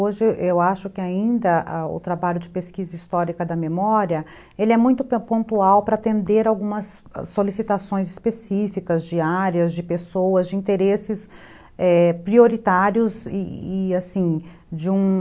Hoje, eu acho que ainda o trabalho de pesquisa histórica da memória, ele é muito pontual para atender algumas solicitações específicas de áreas, de pessoas, de interesses, é... prioritários e, assim, de um...